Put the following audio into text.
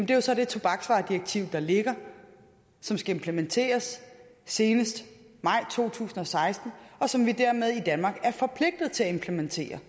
det er så det tobaksvaredirektiv der ligger som skal implementeres senest maj to tusind og seksten og som vi dermed er forpligtet til at implementere